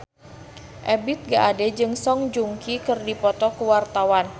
Ebith G. Ade jeung Song Joong Ki keur dipoto ku wartawan